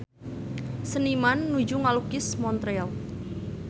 Seniman nuju ngalukis Montreal